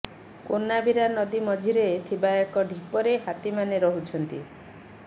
କୋନାବିରା ନଦୀ ମଝିରେ ଥିବା ଏକ ଢିପରେ ହାତୀମାନେ ରହୁଛନ୍ତି